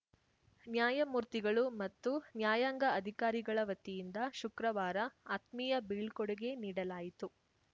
ನ್ಯಾಯಮೂರ್ತಿಗಳು ಮತ್ತು ನ್ಯಾಯಾಂಗ ಅಧಿಕಾರಿಗಳ ವತಿಯಿಂದ ಶುಕ್ರವಾರ ಆತ್ಮೀಯ ಬೀಳ್ಕೊಡುಗೆ ನೀಡಲಾಯಿತು